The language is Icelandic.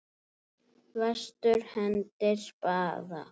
Vestur hendir spaða.